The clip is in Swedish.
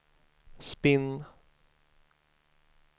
spinn